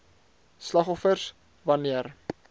slagoffers wan neer